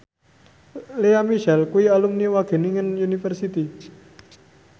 Lea Michele kuwi alumni Wageningen University